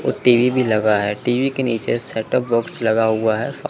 ओ TV भी लगा है टी_वी के नीचे सेट टॉप बॉक्स लगा हुआ है--